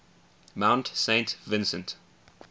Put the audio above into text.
mount saint vincent